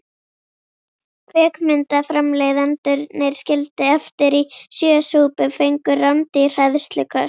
Kvikmyndaframleiðendurnir, skildir eftir í sjö súpum, fengu rándýr hræðsluköst.